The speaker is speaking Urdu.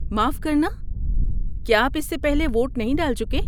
معاف کرنا، کیا آپ اس سے پہلے ووٹ نہیں ڈال چکے؟